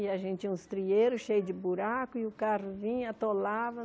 E a gente tinha uns trieiros cheio de buraco e o carro vinha, atolava.